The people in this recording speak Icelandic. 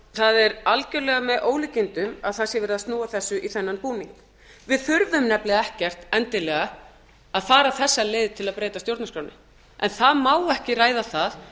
það er algjörlega með ólíkindum að það sé verið að snúa þessu í þennan búning við þurfum nefnilega ekkert endilega að fara þessa leið til að breyta stjórnarskránni en það má ekki ræða það